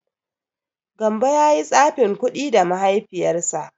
Gambo ya yi tsafin kuɗi da Mahaifiyarsa.